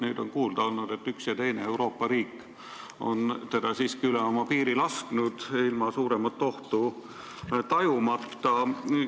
Nüüd on kuulda olnud, et üks ja teine Euroopa riik on ilma suuremat ohtu tajumata teda siiski üle oma piiri lasknud.